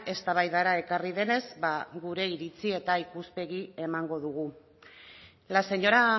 eztabaidara ekarri denez ba gure iritzi eta ikuspegia emango dugu la señora